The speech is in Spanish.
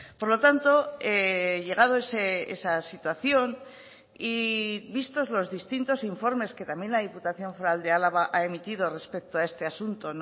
por lo tanto llegado esa situación y vistos los distintos informes que también la diputación foral de álava ha emitido respecto a este asunto